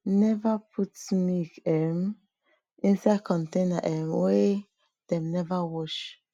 neva put milk um inside container um wey dem neva wash